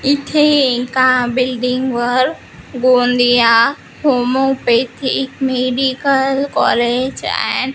इथे एका बिल्डिंग वर Gondia homeopathic medical college and --